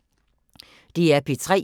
DR P3